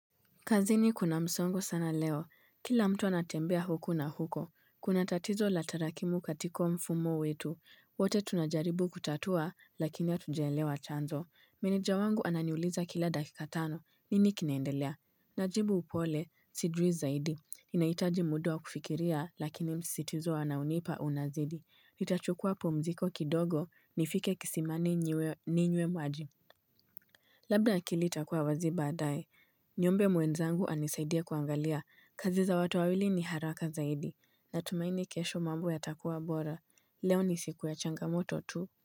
Kazini kuna msongo sana leo. Kila mtu anatembea huku na huko. Kuna tatizo la tarakimu katiko mfumo wetu. Wote tunajaribu kutatua lakini ya hatujaelewa chanzo. Meneja wangu ananiuliza kila dakika tano. Nini kinaendelea najibu upole sijui zaidi. Inaitaji muda wa kufikiria lakini msitizo anaonipa unazidi. Nitachukua pumziko kidogo nifike kisimani nyiwe ninywe maji. Labda akili itakuwa wazi baadaye. Niombe mwenzangu anisaidie kuangalia kazi za watu wawili ni haraka zaidi natumaini kesho mambo yatakua bora. Leo ni siku ya changamoto tu.